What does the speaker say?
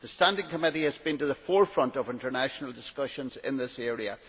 The standing committee has been at the forefront of international discussions in this area.